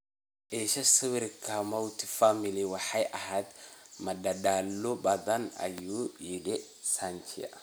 Isha sawirka, Mowatt family Waxay ahayd madadaalo badan, "ayuu yidhi Sanchia.